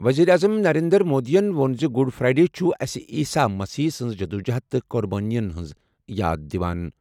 ؤزیٖرِ اعظم نَرینٛدر مودِین ووٚن زِ گُڈ فرٛایڈے چُھ اَسہِ عیسیٰ مسیح سٕنٛزِ جَدوجہد تہٕ قۄربٲنِین ہِنٛز یاد دِوان۔